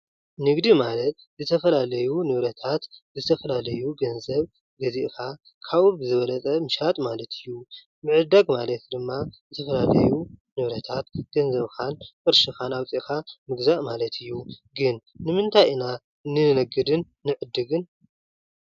ንግዲ ማለት ዝተፈላለዩ ንብረታት ዝተፈላለዩ ገንዘብ ገዚእኻ ካብኡ ብዝበለፅ ምሻጥ ማለት እዩ። ምዕዳግ ማለት ድማ ዝተፈላለዩ ንብረታት ገንዘብካን ቅርሽኻን ኣዉፂእካን ምግዛእ ማለት እዩ። ግን ንምንታይ ኢና ንነግድን ንዕድግን ?